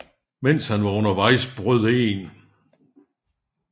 Mens han var undervejs brød 1